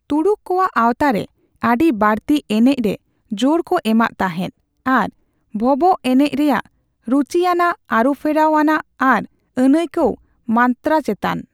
ᱛᱩᱲᱩᱠ ᱠᱚᱣᱟᱜ ᱟᱣᱛᱟᱨᱮ, ᱟᱹᱰᱤ ᱵᱟᱹᱲᱛᱤ ᱮᱱᱮᱡ ᱨᱮ ᱡᱳᱨ ᱠᱚ ᱮᱢᱟᱜ ᱛᱟᱦᱮᱸᱫ ᱟᱨ ᱵᱷᱚᱵᱚᱜᱽ ᱮᱱᱮᱡ ᱨᱮᱭᱟᱜ ᱨᱩᱪᱤᱭᱟᱱᱟᱜ, ᱟᱨᱩᱯᱷᱮᱨᱟᱣ ᱟᱱᱟᱜ ᱟᱨ ᱟᱹᱱᱟᱹᱭᱠᱟᱹᱣ ᱢᱟᱛᱛᱨᱟ ᱪᱮᱛᱟᱱ ᱾